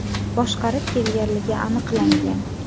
boshqarib kelganligi aniqlangan.